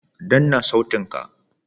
Danna sautin ka!